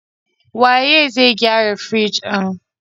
Waye zai gyara firjin?